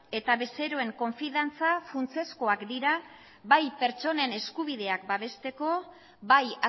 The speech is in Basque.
eta bezeroen konfidantza funtsezkoak dira bai pertsonen eskubideak babesteko bai